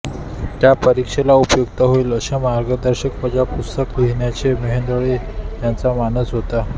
त्या परीक्षेला उपयुक्त होईल असे मार्गदर्शकवजा पुस्तक लिहिण्याचा मेहेंदळे यांचा मानस होता